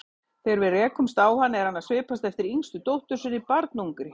Þegar við rekumst á hann er hann að svipast eftir yngstu dóttur sinni, barnungri.